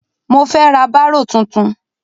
Mo fẹ ra bárò tuntun.